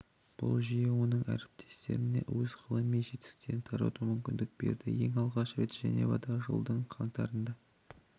бұл жүйе оның әріптестеріне өз ғылыми жетістіктерін тарату мүмкіндігін берді ең алғаш рет женевада жылдың қаңтарында